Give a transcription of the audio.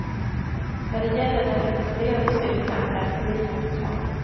När det gäller den rekommenderade styrkan är förvirringen total.